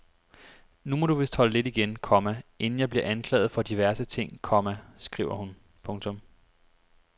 Nu må du vist holde lidt igen, komma inden jeg bliver anklaget for diverse ting, komma skriver hun. punktum